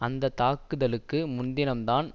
அந்த தாக்குதலுக்கு முன்தினம் தான்